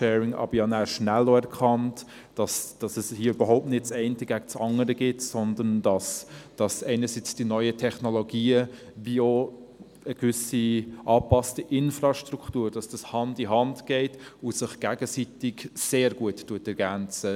Aber ich habe nachher schnell erkannt, dass es überhaupt nicht ein Entweder-oder ist, sondern dass die neuen Technologien und eine angepasste Infrastruktur Hand in Hand gehen und sich gegenseitig sehr gut ergänzen.